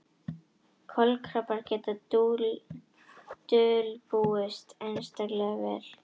Kolkrabbar geta dulbúist einstaklega vel.